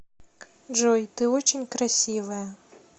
джой ты очень красивая